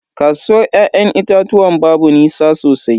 Kasuwar ya'yan itatuwan babu nisa sosai.